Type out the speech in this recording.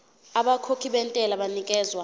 abakhokhi bentela banikezwa